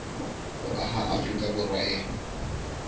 ho aha afrika borwa e